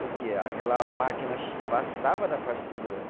Porque aquela máquina passava da faixa de segurança.